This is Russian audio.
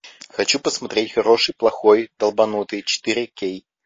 хочу посмотреть хороший плохой долбанутый четыре кей